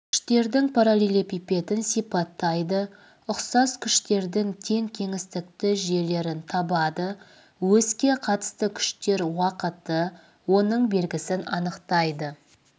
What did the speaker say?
күштердің параллелепипедін сипаттайды ұқсас күштердің тең кеңістікті жүйелерін табады оське қатысты күштер уақыты оның белгісін анықтайды